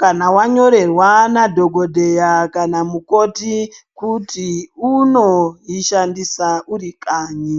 kana wa nyorerwa na dhokodheya kana mukoti kuti uno ishandisa uri kanyi.